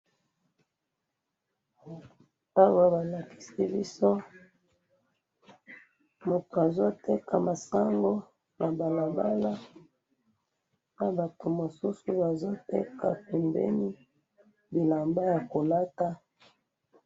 awa balakisi biso moutou azo teka masango na balabala nabatou mosousou bazoteka pembeni bilamba ya kolata